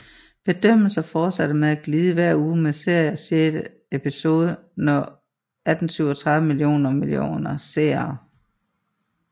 Bedømmelser fortsatte med at glide hver uge med serien sjette episode nå 1837 millioner millioner seere